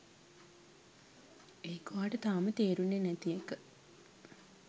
ඒක ඔයාට තාම තේරුනේ නැති එක